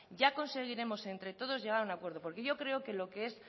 y a conseguiremos entre todos llegar a un acuerdo porque yo creo que lo que es